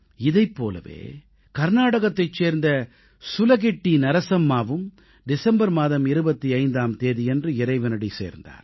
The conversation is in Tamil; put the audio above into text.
இதைப் போலவே கர்நாடகத்தைச் சேர்ந்த சுலகிட்டி நரசம்மாவும் டிசம்பர் மாதம் 25ஆம் தேதியன்று இறைவனடி சேர்ந்தார்